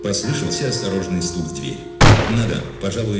послышался осторожный стук в дверь надо пожалуй